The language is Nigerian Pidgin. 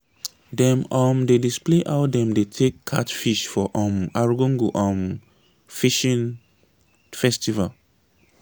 dem um dey display how dem dey take catch fish for um argungu um fishing festival.